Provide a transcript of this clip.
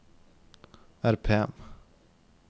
RPM